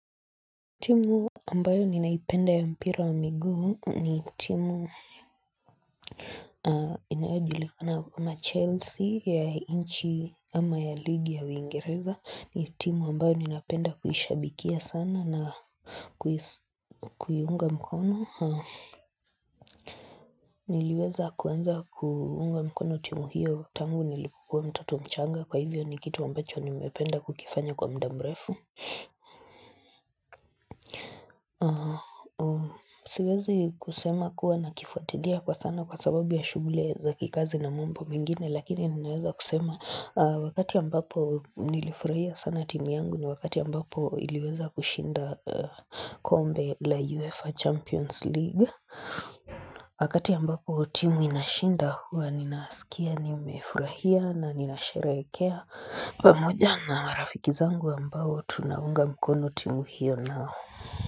Timu ambayo ninaipenda ya mpira wa migu ni timu inayo julikana kama Chelsea ya inchi ama ya ligi ya uingereza ni timu ambayo ninaipenda kuhishabikia sana na kuyunga mkono Niliweza kuenza kuhunga mkono timu hiyo tangu nilipukua mtoto mchanga kwa hivyo ni kitu ambacho nimependa kukifanya kwa mdambrefu Siwezi kusema kuwa na kifuatidia kwa sana kwa sababu ya shuhuli za kikazi na mambo mingine lakini ninaweza kusema wakati ambapo nilifurahia sana timu yangu ni wakati ambapo iliweza kushinda kombe la uefa champions league Wakati ambapo timu inashinda huwa ninaasikia ni umefurahia na nina sherekea pamoja na marafiki zangu ambao tunaunga mkono timu hiyo nao.